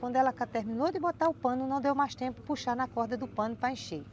Quando ela terminou de botar o pano, não deu mais tempo de puxar na corda do pano para encher.